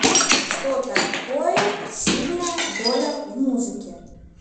что такое сильная доля в музыке